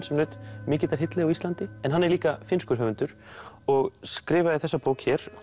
sem naut mikillar hylli á Íslandi en hann er líka finnskur höfundur og skrifaði þessa bók hér